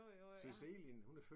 Jo jo jo jeg har